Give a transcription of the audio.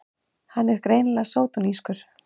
Hann er greinilega sódónískur!